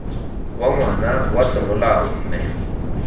wa ngwana wa semolao mme